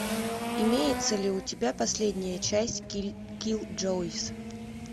имеется ли у тебя последняя часть киллджойс